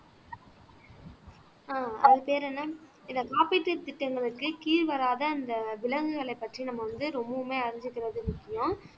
ஆஹ் அது பெயர் என்ன இந்த காப்பீட்டுத் திட்டங்களுக்கு கீழ் வராத இந்த விலங்குகளைப் பற்றி நம்ம வந்து ரொம்பவுமே அறிஞ்சிக்கிறது முக்கியம்